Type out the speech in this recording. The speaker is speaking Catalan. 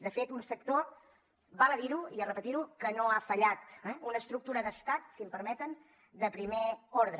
de fet un sector val a dir ho i repetir ho que no ha fallat eh una estructura d’estat si m’ho permeten de primer ordre